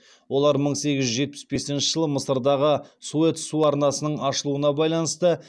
олар мың сегіз жүз жетпіс бесінші жылы мысырдағы суэц су арнасының ашылуына байланысты